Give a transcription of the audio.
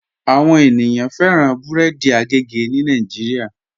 Àwọn ènìyàn fẹran bẹ̀rẹ̀dì àgègè ni Nàìjíríà.